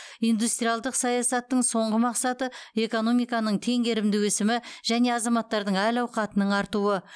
индустриалдық саясаттың соңғы мақсаты экономиканың теңгерімді өсімі және азаматтардың әл ауқатының артуы